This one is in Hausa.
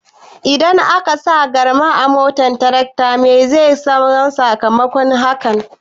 Idan akasa garma a motar tarakta meye zai zama sakamakon yin hakan?